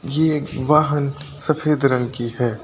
ये एक वाहन सफ़ेद रंग की है।